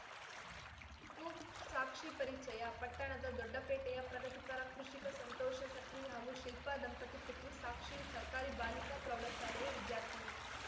ಕುಸಾಕ್ಷಿ ಪರಿಚಯ ಪಟ್ಟಣದ ದೊಡ್ಡಪೇಟೆಯ ಪ್ರಗತಿಪರ ಕೃಷಿಕ ಸಂತೋಷ ಸಕ್ರಿ ಹಾಗೂ ಶಿಲ್ಪ ದಂಪತಿ ಪುತ್ರಿ ಸಾಕ್ಷಿ ಸರ್ಕಾರಿ ಬಾಲಿಕಾ ಪ್ರೌಢಶಾಲೆಯ ವಿದ್ಯಾರ್ಥಿನಿ